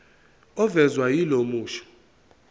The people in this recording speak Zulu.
ovezwa yilo musho